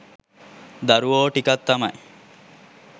දරුවෝ ටිකක් තමයි